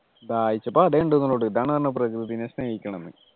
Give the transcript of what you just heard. ദാഹിച്ചപ്പോ അതെ ഉണ്ടായിരുന്നുള്ളൂ ട്ടോ ഇതാണ് പറഞ്ഞെ പ്രകൃതിയെ സ്നേഹിക്കണംന്നു